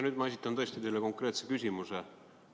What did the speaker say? Nüüd ma tõesti esitan teile konkreetse küsimuse.